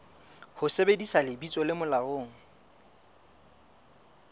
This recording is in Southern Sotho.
ho sebedisa lebitso le molaong